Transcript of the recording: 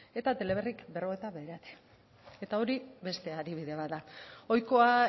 eta teleberrik berrogeita bederatzi eta hori beste adibide bat da ohikoa